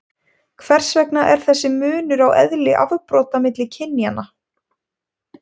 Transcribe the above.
hvers vegna er þessi munur á eðli afbrota milli kynjanna